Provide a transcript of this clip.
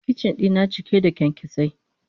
Kicin dina cike da kyankyasai.